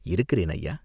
"இருக்கிறேன், ஐயா!